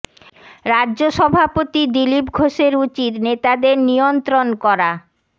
রাজ্য সভাপতি দিলীপ ঘোষের উচিত নেতাদের নিয়ন্ত্রণ করা